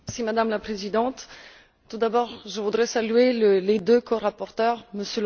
Madame la Présidente, tout d'abord je voudrais saluer les deux corapporteurs, M.